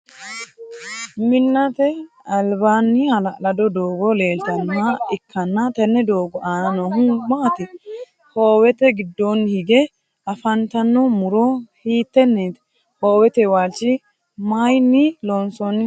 Minnate albaanni hala'lado doogo leeltanoha ikanna tenne doogo aanna noohu maati? Hoowete gidoonni hige afantanno muro hiiteneeti? Hoowete waalichi mayinni loonsoonniho?